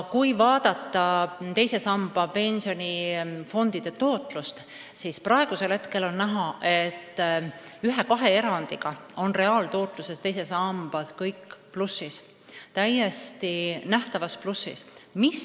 Kui vaadata teise samba pensionifondide tootlust, siis praegu on näha, et ühe-kahe erandiga on kõik täiesti nähtavas plussis.